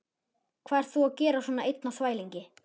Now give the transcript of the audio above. Hvað ert þú að gera svona einn á þvælingi?